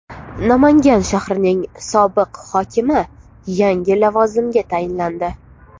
Namangan shahrining sobiq hokimi yangi lavozimga tayinlandi.